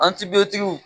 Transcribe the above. An tibotigiw